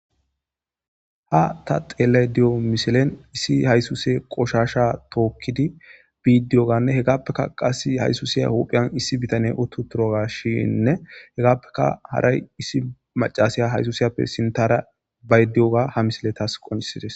Ha ta dhelayda de'iyo missilen issi haysuse qoshasha tokidi bidi diyogane hegapeka qasi haysusiya huphiyani issi bitaney utiutrogashinne hegapeka haray issi mac'asiya haysusiyappe sintara bayde diyoga ha missiley tas qonc'isizes.